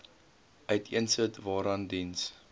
uiteensit waaraan diens